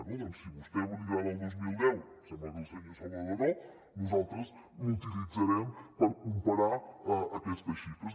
bé doncs si a vostè li agrada el dos mil deu sembla que al senyor salvadó no nosaltres l’utilitzarem per comparar aquestes xifres